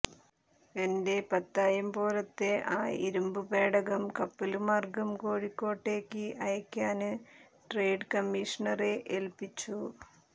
എന്റെ പത്തായംപോലത്തെ ആ ഇരുമ്പുപേടകം കപ്പല്മാര്ഗം കോഴിക്കോട്ടേക്ക് അയയ്ക്കാന് ട്രേഡ് കമ്മീഷണറെ ഏല്പ്പിച്ചു